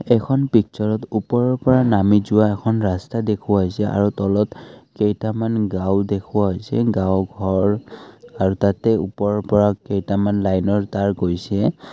এইখন পিকচাৰত ওপৰৰ পৰা নামি যোৱা এখন ৰাস্তা দেখুওৱা হৈছে আৰু তলত কেইটামান গাঁও দেখুওৱা হৈছে গাঁও ঘৰ আৰু তাতে ওপৰৰ পৰা কেইটামান লাইনৰ তাঁৰ গৈছে।